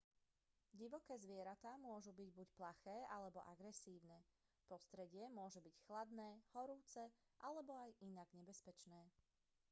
divoké zvieratá môžu byť buď plaché alebo agresívne prostredie môže byť chladné horúce alebo inak nebezpečné